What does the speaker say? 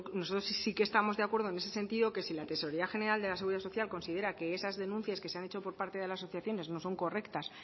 nosotros sí que estamos de acuerdo en ese sentido que si la tesorería general de la seguridad social considera que esas denuncias que se han hecho por parte de las asociaciones no son correctas